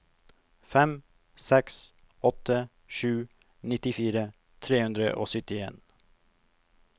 fem seks åtte sju nittifire tre hundre og syttien